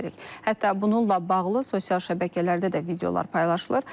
Hətta bununla bağlı sosial şəbəkələrdə də videolar paylaşılır.